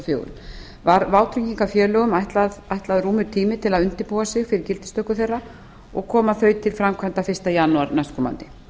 fjögur var vátryggingarfélögum ætlaður rúmur tími til að undirbúa sig fyrir gildistöku þeirra og koma þau til framkvæmda fyrsta janúar næstkomandi